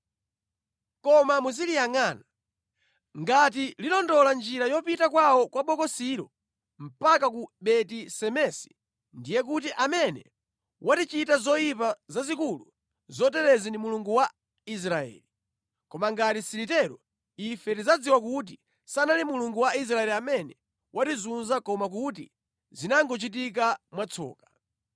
Koma muziliyangʼana. Ngati lilondola njira yopita kwawo kwa Bokosilo mpaka ku Beti-Semesi ndiye kuti amene watichita zoyipa zazikulu zoterezi ndi Mulungu wa Israeli. Koma ngati silitero, ife tidzadziwa kuti sanali Mulungu wa Israeli amene watizunza koma kuti zinangochitika mwatsoka.”